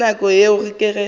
ka nako yeo ke ge